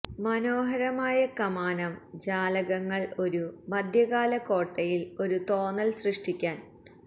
മനോഹരമായ കമാനം ജാലകങ്ങൾ ഒരു മധ്യകാല കോട്ടയിൽ ഒരു തോന്നൽ സൃഷ്ടിക്കാൻ